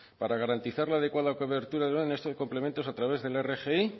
para garantizar la adecuada cobertura de estos complementos a través de la rgi